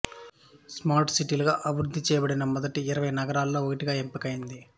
smart సిటీలుగా అభివృద్ధి చేయబడిన మొదటి ఇరవై నగరాల్లో ఒకటిగా ఎంపికైంది